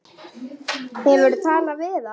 Hefurðu talað við hann?